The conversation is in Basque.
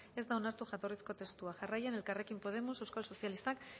ez da onartu jatorrizko testua jarraian elkarrekin podemos euskal sozialistak